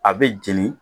A bɛ jeni